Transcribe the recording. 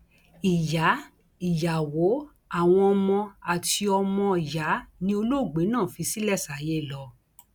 ìyá ìyàwó àwọn ọmọ àti ọmọọyà ni olóògbé náà fi ṣílẹ sáyé lọ